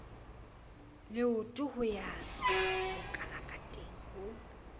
leotong ho ya tswabokalakateng ho